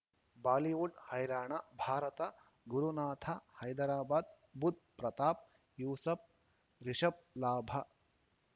Bollywood ಹೈರಾಣ ಭಾರತ ಗುರುನಾಥ ಹೈದರಾಬಾದ್ ಬುಧ್ ಪ್ರತಾಪ್ ಯೂಸುಫ್ ರಿಷಬ್ ಲಾಭ